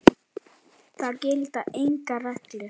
Það gilda engar reglur.